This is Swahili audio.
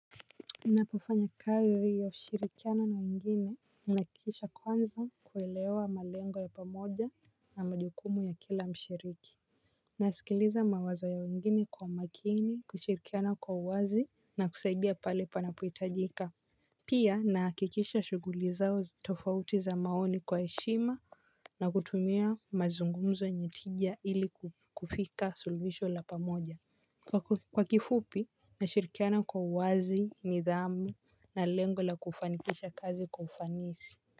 Ninapofanya kazi ya ushirikiano na wengine ninahakikisha kwanza kuelewa malengo ya pamoja na majukumu ya kila mshiriki. Nasikiliza mawazo ya wengine kwa umakini, kushirikiana kwa uwazi na kusaidia pale panapohitajika. Pia nahakikisha shughuli zao tofauti za maoni kwa heshima na kutumia mazungumzo yenye tija ili kufika suluhisho la pamoja. Kwa kifupi, nashirikiana kwa uwazi, nidhamu na lengo la kufanikisha kazi kwa ufanisi.